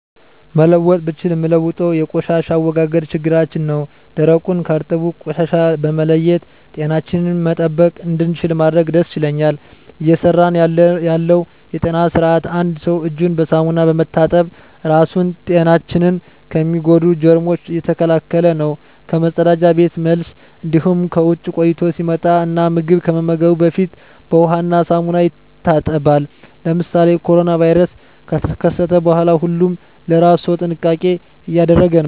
መለወጥ ብችል ምለውጠው የቆሻሻ አወጋገድ ችግራችን ነው ደረቁን ከእርጥብ ቆሻሻ በመለየት ጤናችንን መጠበቅ እንድችል ባደርግ ደስ ይለኛል። እየሰራ ያለው የጤና ስርአት አንድ ሰው እጁን በሳሙና በመታጠብ ራሱን ጤናችን ከሚጎዱ ጀርሞች እየተከላከለ ነው ከመፀዳጃ ቤት መልስ እንዲሁም ከውጭ ቆይቶ ሲመጣ እና ምግብ ከመመገቡ በፊት በውሃ እና ሳሙና ይታጠባል። ለምሳሌ ኮሮና ቫይረስ ከተከሰተ በኋላ ሁሉም ለእራሱ ሰው ጥንቃቄ እያደረገ ነው።